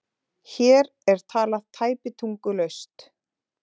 Hér er talað tæpitungulaust